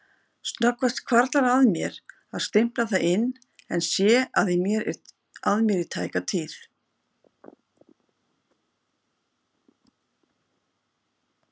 Snöggvast hvarflar að mér að stimpla það inn en sé að mér í tæka tíð.